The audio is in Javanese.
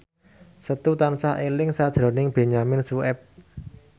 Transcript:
Setu tansah eling sakjroning Benyamin Sueb